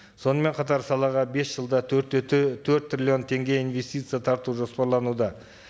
сонымен қатар салаға бес жылда төрт те төрт триллион теңге инвестиция тарту жоспарлануда